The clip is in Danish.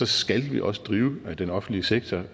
skal vi også drive den offentlige sektor